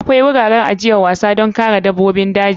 Akwai wuraren ajiyar wasan don kare dabbobin daji.